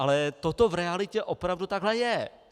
Ale toto v realitě opravdu takhle je.